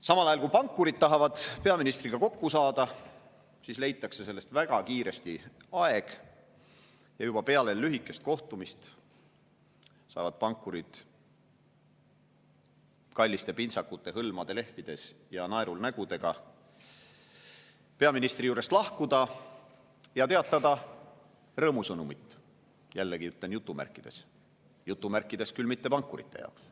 Samal ajal, kui pankurid tahavad peaministriga kokku saada, siis leitakse selleks väga kiiresti aeg ja juba peale lühikest kohtumist saavad pankurid kallite pintsakute hõlmade lehvides ja naerul nägudega peaministri juurest lahkuda ja teatada rõõmusõnumit – jällegi jutumärkides, kuid jutumärkides mitte pankurite jaoks.